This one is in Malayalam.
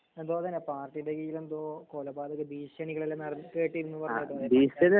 എന്തൊതനെ പാർട്ടി ബെയിലെന്തോ കൊലപാതക ഭീഷണികൾ എല്ലാ നെറ കേട്ടിരുന്നു പറീണ കേട്ടോ